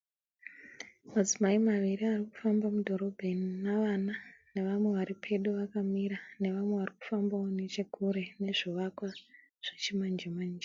Madzimai maviri ari kufamba mudhorobheni navana navamwe vari pedo vakamira nevamwe varikufambawo nechekure nezvivakwa zvechimanjemanje.